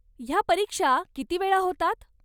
ह्या परीक्षा किती वेळा होतात?